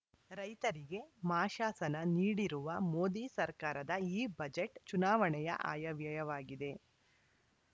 ರೈತರಿಗೆ ಮಾಶಾಸನ ನೀಡಿರುವ ಮೋದಿ ಸರ್ಕಾರದ ಈ ಬಜೆಟ್‌ ಚುನಾವಣೆಯ ಆಯವ್ಯಯವಾಗಿದೆ